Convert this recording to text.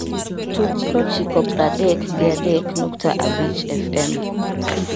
tug proochiko praadek gi adek nukta abich f.m.